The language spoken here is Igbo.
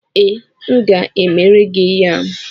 Ee, m ga-emere gị yam.